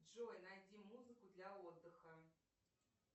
джой найди музыку для отдыха